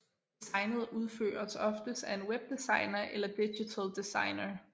Designet udføres oftest af en webdesigner eller digital designer